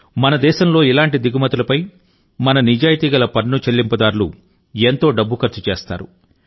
మన దేశంలో ఇలాంటి దిగుమతులపై మన నిజాయితీగల పన్ను చెల్లింపుదారులు ఎంతో డబ్బు ఖర్చు చేస్తారు